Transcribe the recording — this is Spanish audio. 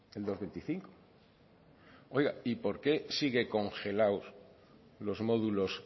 el dos coma veinticinco oiga y por qué siguen congelados los módulos